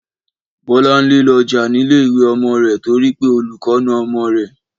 Bọ́láńlé lọ jà nílé ìwé ọmọ rẹ̀ torí pé olùkọ́ na ọmọ rẹ̀